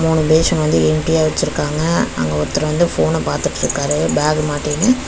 ஒரு பேஷன் வந்து எம்டியா வெச்சிருக்காங்க. அங்க ஒர்த்தர் வந்து ஃபோன பாத்துட்ருக்காரு பேக மாட்டினு.